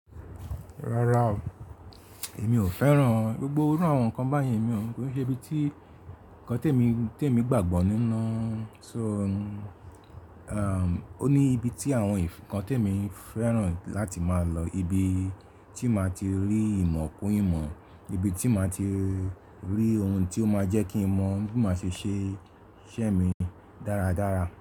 Rárá o, èmi ò fẹ́ràn. Gbogbo irú àwọn nǹkan báyen emi ò, kò se ibi tí nǹkan tí èmi, tí èmi gbàgbọ́ nínú. So, o ní ibi tí àwọn ǹnkan tí èmi fẹ́ràn láti máa lọ, ibi tí màá ti rí ìmọ̀ kún ìmọ̀, ibi tí màá ti rí ohun tí ó máa jẹ́ kí n mọ̀ bi máa ṣe ṣe iṣẹ́ mi dáradára.